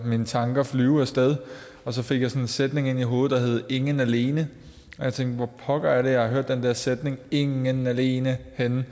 mine tanker flyve af sted og så fik jeg sådan en sætning ind i hovedet ingen alene jeg tænkte hvor pokker er det at jeg har hørt den der sætning ingen alene henne